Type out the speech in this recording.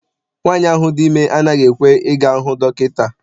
Nwaanyi ahụ dị ime anaghị ekwe I ga hụ dọkịta.